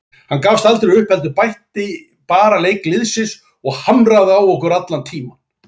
Hann gafst aldrei upp heldur bætti bara leik liðsins og hamraði á okkur allan tímann.